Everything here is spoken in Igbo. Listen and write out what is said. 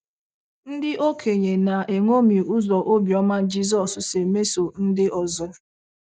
Ndị okenye na - eṅomi ụzọ obiọma Jizọs si emeso ndị ọzọ